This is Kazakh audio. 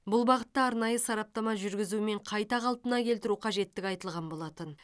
бұл бағытта арнайы сараптама жүргізу мен қайта қалпына келтіру қажеттігі айтылған болатын